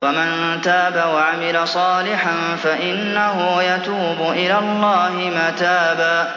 وَمَن تَابَ وَعَمِلَ صَالِحًا فَإِنَّهُ يَتُوبُ إِلَى اللَّهِ مَتَابًا